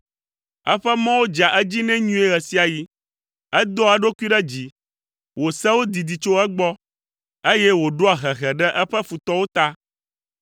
Eƒe mɔwo dzea edzi nɛ nyuie ɣe sia ɣi, edoa eɖokui ɖe dzi, wò sewo didi tso egbɔ; eye wòɖoa hehe ɖe eƒe futɔwo ta.